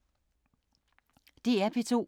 DR P2